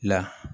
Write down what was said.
La